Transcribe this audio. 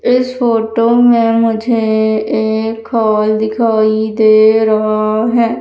इस फोटो में मुझे एक हॉल दिखाई दे रहा है।